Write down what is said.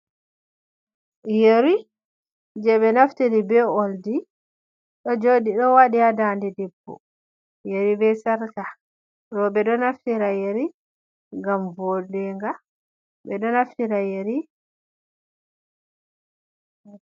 Yeri. Je be naftiri be oldi dojoɗi do wadi ha dande debbo. yari be sarka ro ɓe do naftira yeri ngam vodenga be do naftira yari.